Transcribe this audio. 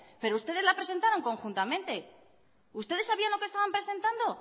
pero ustedes la presentaron conjuntamente ustedes sabían lo que estaban presentando